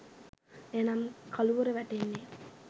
එනම් කළුවර වැටෙන්නේ